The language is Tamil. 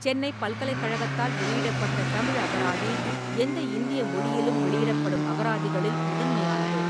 சென்னைப் பல்கலைக் கழகத்தால் வெளியிடப்பட்ட தமிழ் அகராதி, எந்த இந்திய மொழியிலும் வெளியிடப்படும் அகராதிகளில் முதன்மையானது.